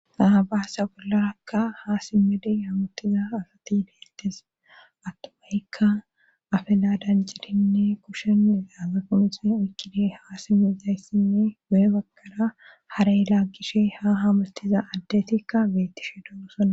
naabaasa bollarakka ha simmede haamuttiza asati beettes attumayikka afeladanjirinne kushen daaga qomixe ukkide haa simizayssinne guye bagara harey laggishe ha hamuttiza addetikka beettishe doosona